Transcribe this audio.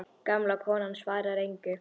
Gamla konan svarar engu.